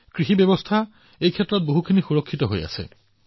কৃষি ব্যৱস্থাই আক্ৰমণৰ পৰা নিজকে যথেষ্ট পৰিমাণে সুৰক্ষিত কৰিছিল